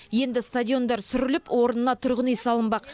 енді стадиондар сүріліп орнына тұрғын үй салынбақ